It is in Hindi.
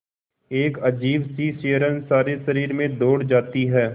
एक अजीब सी सिहरन सारे शरीर में दौड़ जाती है